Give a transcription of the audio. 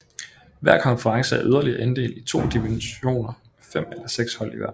Hver konference er yderligere inddelt i to divisioner med fem eller seks hold i hver